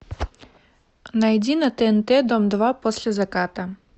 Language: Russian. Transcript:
найди на тнт дом два после заката